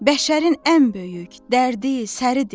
Bəşərin ən böyük dərdi, səsidir.